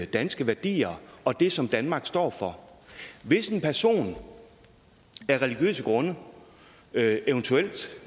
danske værdier og det som danmark står for hvis en person af religiøse grunde eventuelt og